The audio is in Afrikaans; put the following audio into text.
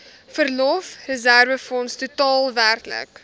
verlofreserwefonds totaal werklik